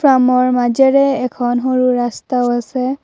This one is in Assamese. ফাৰ্মৰ মাজেৰে এখন সৰু ৰাস্তাও আছে।